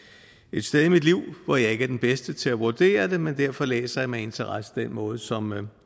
et sted i mit liv hvor jeg ikke er den bedste til at vurdere det men derfor læser jeg med interesse den måde som